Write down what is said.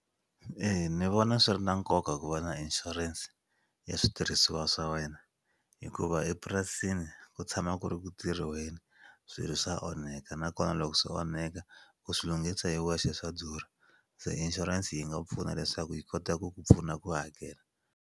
Eya ni vona swi ri na nkoka ku va na insurance ya switirhisiwa swa wena hikuva epurasini ku tshama ku ri ku tirhiweni swilo swa onheka nakona loko swo onheka ku swi lunghisa hi wexe swa durha se insurance yi nga pfuna leswaku yi kota ku ku pfuna ku hakela.